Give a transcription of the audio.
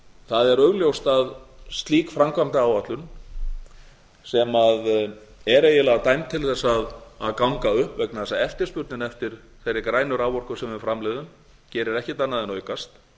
það er augljóst að slík framkvæmdaáætlun sem er eiginlega dæmt til þess að ganga upp vegna þess að eftirspurnin eftir þeirri grænu raforku sem við framleiðum gerir ekkert annað en aukast